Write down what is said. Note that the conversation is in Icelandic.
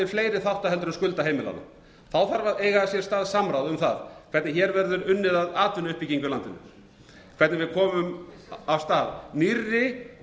fleiri þátta heldur en skulda heimilanna þá þarf að eða hér að samráð um það hvernig hér verður unnið að atvinnuuppbyggingu í landinu hvernig við komum af stað nýrri